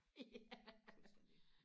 ja